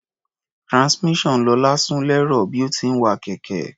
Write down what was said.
Transmission Lọlá sún lẹ́rọ̀ bí ó ti ń wa kẹ̀kẹ́.